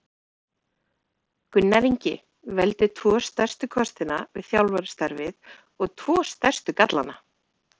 Gunnar Ingi Veldu tvo stærstu kostina við þjálfarastarfið og tvo stærstu gallana?